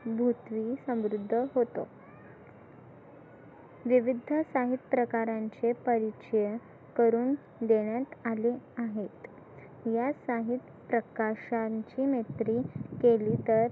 बुधवी समृद्ध होतं विविध साहित्य प्रकारांचे परिचय करून देण्यास आले आहेत या साहित्य प्रकाशांची मैत्री केली तर